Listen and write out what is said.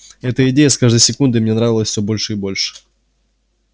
эта идея с каждой секундой мне нравилась всё больше и больше